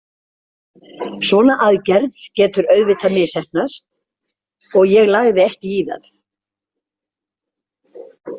Svona aðgerð getur auðvitað misheppnast og ég lagði ekki í það.